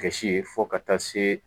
Gasi ye fɔ ka taa se